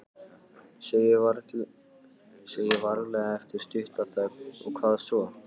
Segi varlega eftir stutta þögn: Og hvað svo?